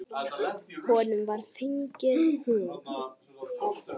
Honum var fengin hún.